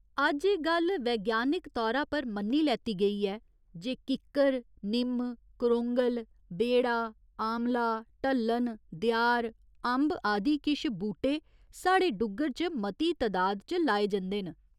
अज्ज एह् गल्ल वैज्ञानिक तौरा पर मन्नी लैत्ती गेई ऐ जे किक्कर, निम्म, करोंगल, ब्हेड़ा, आमला, ढल्लन, देआर, अम्ब आदि किश बूह्टे साढ़े डुग्गर च मती तदाद च लाए जंदे न।